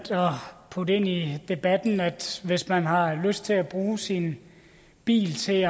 putte ind i debatten at hvis man har lyst til at bruge sin bil til